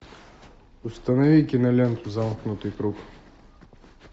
установи киноленту замкнутый круг